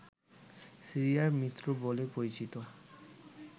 সিরিয়ার মিত্র বলে পরিচিত